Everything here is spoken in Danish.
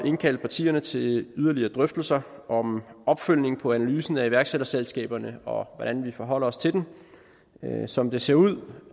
indkalde partierne til yderligere drøftelser om opfølgning på analysen af iværksætterselskaberne og hvordan vi forholder os til den som det ser ud